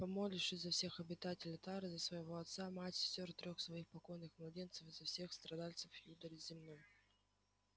помолившись за всех обитателей тары за своего отца мать сестёр трёх своих покойных младенцев и за всех страдальцев юдоли земной